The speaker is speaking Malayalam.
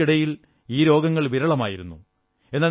യുവാക്കൾക്കിയടിൽ ഈ രോഗങ്ങൾ വിരളമായിരുന്നു